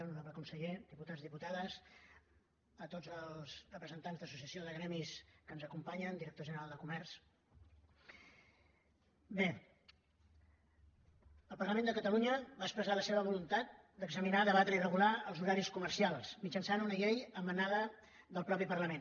honorable conseller diputats diputades representants d’associacions de gremis que ens acompanyen director general de comerç bé el parlament de catalunya va expressar la seva voluntat d’examinar debatre i regular els horaris comercials mitjançant una llei emanada del mateix parlament